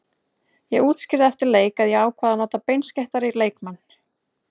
Ég útskýrði eftir leik að ég ákvað að nota beinskeyttari leikmenn.